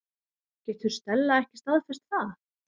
Getur Stella ekki staðfest það?